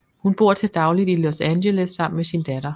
Hun bor til dagligt i Los Angeles sammen med sin datter